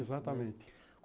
Exatamente.